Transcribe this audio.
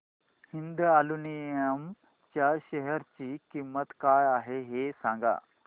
Hind aluminium च्या share ची किंमत काय आहे हे सांगा